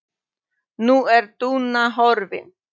Nú er Dúna horfin.